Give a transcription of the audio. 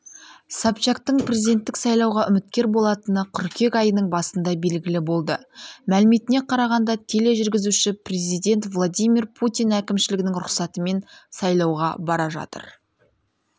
собчактың президенттік сайлауға үміткер болатыны қыркүйек айының басында белгілі болды мәліметіне қарағанда тележүргізуші президент владимир путин әкімшілігінің рұқсатымен сайлауға бара жатыр